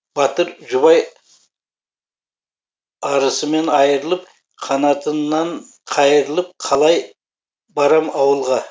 батыр жұбай арысымен айрылып қанатымнан қайрылып қалай барам ауылға